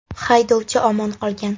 Haydovchi omon qolgan.